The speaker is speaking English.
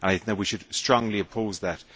We should strongly oppose that.